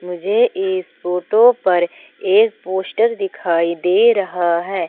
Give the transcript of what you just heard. मुझे इस फोटो पर एक पोस्टर दिखाई दे रहा है।